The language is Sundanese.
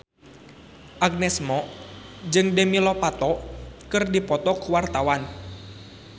Agnes Mo jeung Demi Lovato keur dipoto ku wartawan